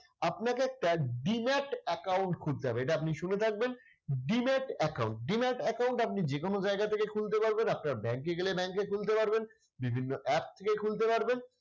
আপনাকে একটা demat account খুলতে হবে এটা আপনি শুনে থাকবেন। demat account demat account আপনি যে কোন জায়গা থেকে খুলতে পারবেন, আপনার ব্যাংকে গেলে ব্যাংকে খুলতে পারবেন। বিভিন্ন app থেকে খুলতে পারবেন।